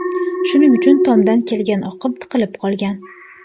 Shuning uchun, tomdan kelgan oqim tiqilib qolgan.